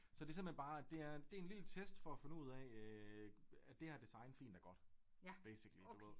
Så det simpelthen bare det er det en lille test for at finde ud af øh er det her design fint og godt basically du ved